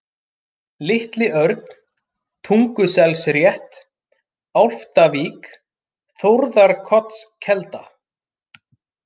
Litli-Örn, Tunguselsrétt, Álftavík, Þórðarkotskelda